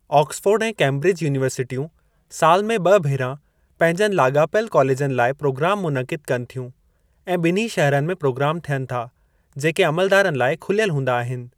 Oxford ऐं Cambridge युनीवरसिटियूं सालु में ॿि भेरा पंहिंजनि लाॻापियलु कॉलेजनि लाइ प्रोगाम मुनक़िद कनि थियूं, ऐं ॿिन्ही शहरनि में प्रोग्राम थियनि था, जेके अमलदारनि लाइ खुलियल हूंदा आहिनि।